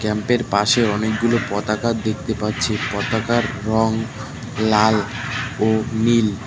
ক্যাম্পের পাশে অনেকগুলো পতাকা দেখতে পাচ্ছি পতাকার রং লাল ও নীল।